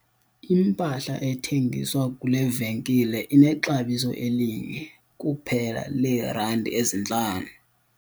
Impahla ethengiswa kule venkile inexabiso elinye kuphela leerandi ezintlanu.